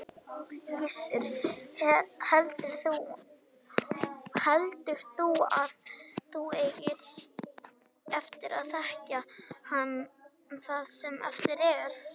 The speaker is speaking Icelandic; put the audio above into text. Gissur: Heldur þú að þú eigir eftir að þekkja hann það sem eftir er?